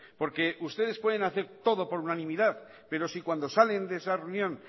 porque ustedes pueden hacer todo por unanimidad pero si cuando salen de esa reunión